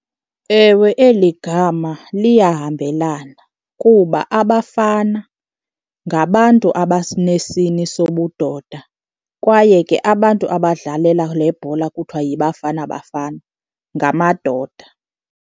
Ewe, eli gama liyahambelana, kuba abafana ngabantu abasinesini sobudoda kwaye ke abantu abadlalela le bhola kuthiwa yiBafana Bafana ngamadoda.